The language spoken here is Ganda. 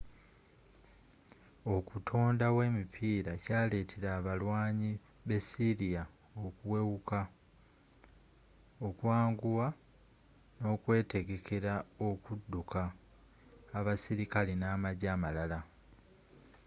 okutondawo emipiira kyaleetera abalwaanyi b'essyria okuwewuka okwanguwa n'okwetegekera okuduka abasirikale namajje amalala